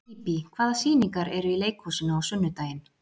Bíbí, hvaða sýningar eru í leikhúsinu á sunnudaginn?